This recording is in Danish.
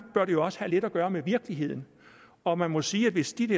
bør det jo også have lidt at gøre med virkeligheden og man må sige at hvis de